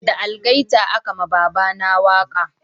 Da algaita a ka ma baba na waka